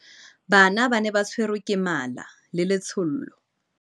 bana ba ne ba tshwerwe ke mala le letshollo